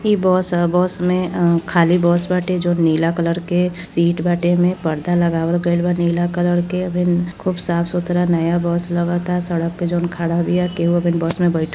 ई बस ह बस मे खाली बस बाटे जौन नीला कलर के सीट बाटे। एमे परदा लगावल गईल बा नीला कलर के अबहिन खूब साफ सुथरा नया बस लगाता। सड़क पे जौन खड़ा बीया। केहु अबहिन बस में बैठल --